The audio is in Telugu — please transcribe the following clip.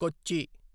కొచ్చి